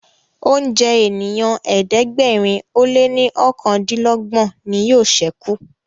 oúnjẹ ènìyàn ẹ̀ẹ́dẹ̀gbẹ̀rin o lẹ ní okàndinlogbon ní yóò sẹku